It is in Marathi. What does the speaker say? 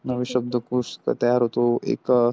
नवीन शब्दकोश तयार होतो एक.